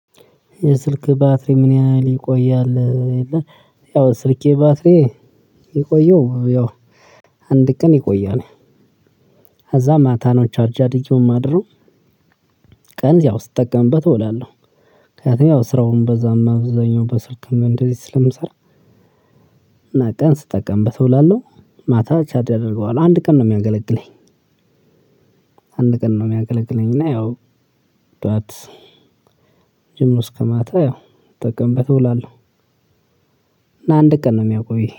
የስልክ ባትሪ ምን ያህል ይቆያል የለም? ያው ስልኬ ባትሪ የቆየው ያው አንድ ቀን ይቆያል። ከዛ ማታ ነው ቻርጂ አድርጌው የማደርገው። ቀን ያው ስጠቀምበት እወላለሁ ምክንያቱም ያው ስራውን በዛም እዛኛው በስልክም እንደዚህ ስለምሰራ። እና ቀን ስጠቀምበት እውላለሁ ማታ ቻድ አደርገዋለሁ አንድ ቀን ነው የሚያገለግለኝ። አንድ ቀን ነው የሚያገለግለኝ እና ያው ደግሞእስከማታ ያው ስጠቀምበት እውላለሁ። እና አንድ ቀን ነው እሚያውቀው